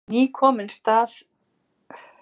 Ný komin strax í staðinn.